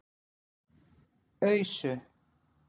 Ausu